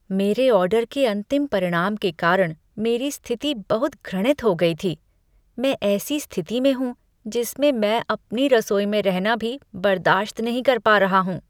मेरे ऑर्डर के अंतिम परिणाम के कारण मेरी स्थिति बहुत घृणित हो गई थी। मैं ऐसी स्थिति में हूँ जिसमें मैं अपनी रसोई में रहना भी बर्दाश्त नहीं कर पा रहा हूँ।